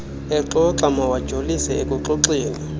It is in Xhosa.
exoxa mawajolise ekuxoxeni